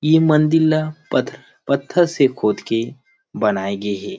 ए मंदिर ला प पत्थर से खोद के बनाए गे हे।